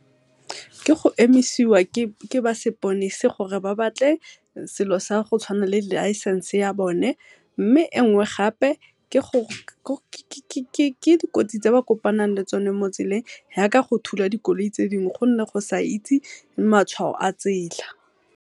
Ke go emisiwa ke ba seponesa gore ba batle selo sa go tshwana le license ya bone, mme engwe gape ke dikotsi tse ba kopang le tsone mo tseleng, ya ka go thula dikoloi tse dingwe gonne go sa itse matshwao a tsela.